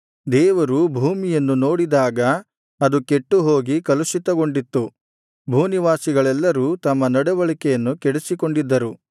ದೇವರು ಭೂಮಿಯನ್ನು ನೋಡಿದಾಗ ಅದು ಕೆಟ್ಟುಹೋಗಿ ಕಲುಷಿತಗೊಂಡಿತ್ತು ಭೂನಿವಾಸಿಗಳೆಲ್ಲರೂ ತಮ್ಮ ನಡವಳಿಕೆಯನ್ನು ಕೆಡಿಸಿಕೊಂಡಿದ್ದರು